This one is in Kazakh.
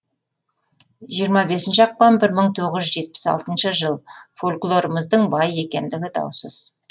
жиырма бесінші ақпан бір мың тоғыз жүз жетпіс алтыншы жыл фольклорымыздың бай екендігі даусыз